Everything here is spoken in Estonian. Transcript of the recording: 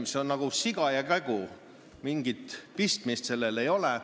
See on nagu siga ja kägu, mingit pistmist neil omavahel ole.